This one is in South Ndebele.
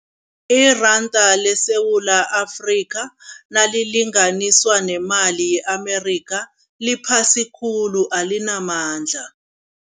Iranda leSewula Afrika nalilinganiswa nemali ye-Amerikha liphasi khulu, alinamandla.